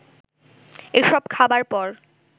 এসব খাবার পর